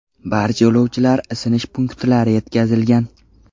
Barcha yo‘lovchilar isinish punktlari yetkazilgan.